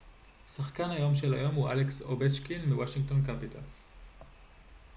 שחקן היום של היום הוא אלכס אובצ'קין מוושינגטון קפיטלס